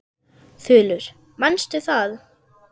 Þulur: Manstu það?